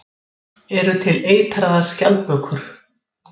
Í norrænum málum er sami stofn og í svipaðri merkingu og hér hefur verið reifuð.